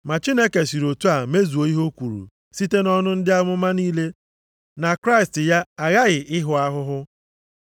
Ma Chineke siri otu a mezuo ihe o kwuru site nʼọnụ ndị amụma niile na Kraịst ya aghaghị ịhụ ahụhụ.